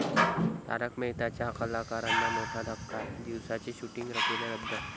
तारक मेहता...'च्या कलाकारांना मोठा धक्का, दिवसाचे शुटिंग केले रद्द